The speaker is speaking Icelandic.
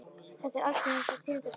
Þetta er algengasta tegund af samruna.